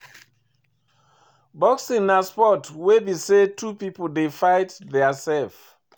Boxing na sport wey be sey two pipo dey fight their self